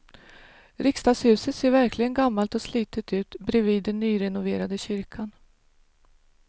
Riksdagshuset ser verkligen gammalt och slitet ut bredvid den nyrenoverade kyrkan.